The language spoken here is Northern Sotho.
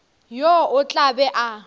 yo o tla be a